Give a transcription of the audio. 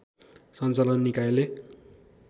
सञ्चालन निकायले